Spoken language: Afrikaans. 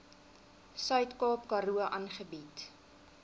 suidkaap karoo aangebied